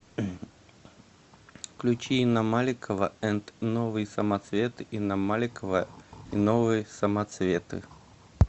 включи инна маликова энд новые самоцветы инна маликова и новые самоцветы